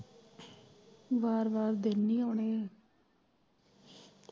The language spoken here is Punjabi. ਵਾਰ ਵਾਰ ਦਿਨ ਨੀ ਆਉਣੇ।